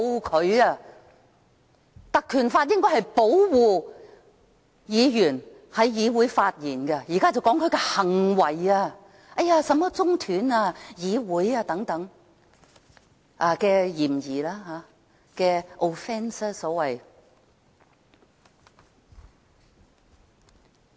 該條例應是保護議員在議會上發言，現在是說其行為，說他涉嫌中斷議會等，所謂 offence。